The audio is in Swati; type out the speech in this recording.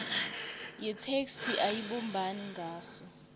yetheksthi ayibumbani ngaso